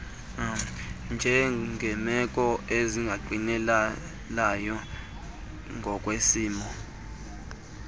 njengeemeko ezingangqinelayo ngokwesimo